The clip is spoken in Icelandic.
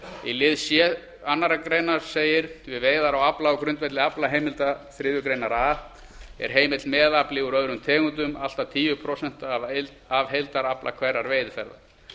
í lið c önnur grein segir við veiðar á afla á grundvelli aflaheimilda samkvæmt þriðju grein a er heimill meðafli úr öðrum tegundum allt að tíu prósent af heildarafla hverrar veiðiferðar